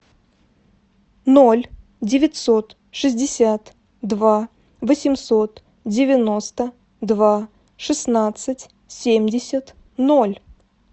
ноль девятьсот шестьдесят два восемьсот девяносто два шестнадцать семьдесят ноль